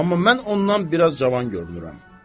Amma mən ondan biraz cavan görünürəm.